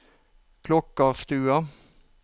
Klokkarstua